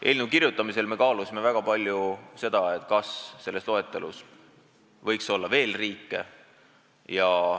Eelnõu kirjutamisel me kaalusime väga palju seda, kas selles loetelus võiks olla veel riike.